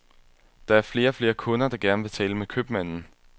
Der er flere og flere kunder, der gerne vil tale med købmanden.